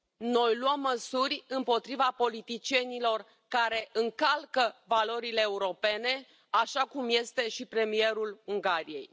Noi luăm măsuri împotriva politicienilor care încalcă valorile europene, așa cum este și premierul Ungariei.